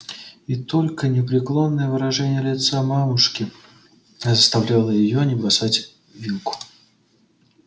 и только непреклонное выражение лица мамушки заставляло её не бросать вилку